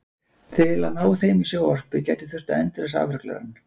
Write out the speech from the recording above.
Til að ná þeim í sjónvarpi gæti þurft að endurræsa afruglarann.